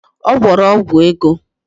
Ọ gwọrọ ọgwụ ego